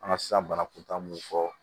An ka sisan bana kuntaa mun fɔ